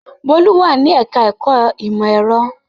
Bólú wà ní ẹ̀ka-ẹ̀kọ́ ìmọ̀-ẹ̀rọ.